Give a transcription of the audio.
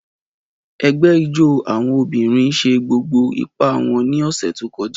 Ẹgbẹ́ ijó àwọn obìnrin ṣe gbogbo ipá wọn ní ọ̀sẹ̀ tó kọjá.